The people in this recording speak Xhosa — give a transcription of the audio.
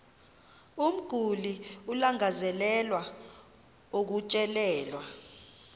umguli alangazelelayo ukutyelelwa